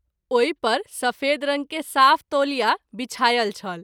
ओहि पर सफेद रंग के साफ तौलिया विछायल छल।